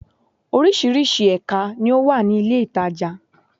Orísirísi èka ni ó wà ní ilé ìtajà